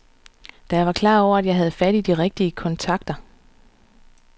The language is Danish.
Da var jeg klar over, at jeg havde fat i de rigtige kontakter.